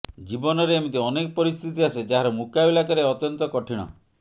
ଜୀବନରେ ଏମିତି ଅନେକ ପରିସ୍ଥିତି ଆସେ ଯାହାର ମୁକାବିଲା କରିବା ଅତ୍ୟନ୍ତ କଠିଣ